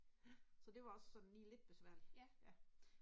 Så det var også sådan lige lidt besværligt ja